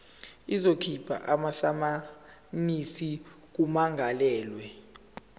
izokhipha amasamanisi kummangalelwa